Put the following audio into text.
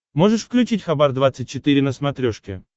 можешь включить хабар двадцать четыре на смотрешке